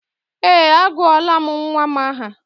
Ee, agụọla m nnwa m aha